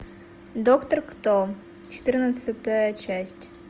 доктор кто четырнадцатая часть